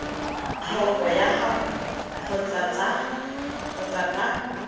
tlhoko ga gagwe kgotsa ka